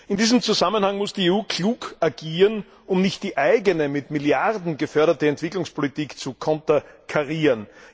In diesem Zusammenhang muss die EU klar agieren, um nicht die eigene, mit Milliarden geförderte Entwicklungspolitik zu konterkarieren.